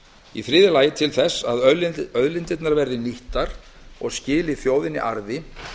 í þriðja lagi að til þess að auðlindirnar verði nýttar og skili þjóðinni arði